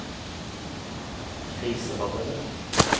kriserammede